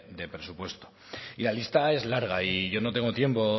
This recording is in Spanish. de presupuesto y la lista es larga y yo no tengo tiempo